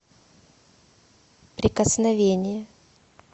прикосновение